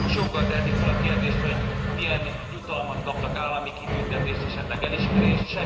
Na most joggal tehetik fel a kérdést, hogy milyen jutalmat kaptak, állami kitüntetést, esetleg elismerést?